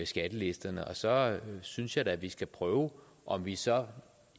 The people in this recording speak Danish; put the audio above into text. skattelisterne og så synes jeg da at vi skal prøve om vi så